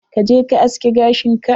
Ka je ka aske gashin ka.